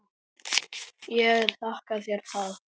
Ég þakka þér það.